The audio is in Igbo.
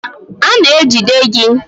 A na-ejide gị.